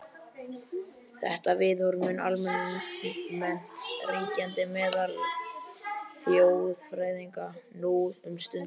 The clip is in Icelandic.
Þetta viðhorf mun almennt ríkjandi meðal þjóðfræðinga nú um stundir.